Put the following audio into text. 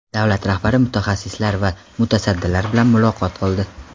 Davlat rahbari mutaxassis va mutasaddilar bilan muloqot qildi.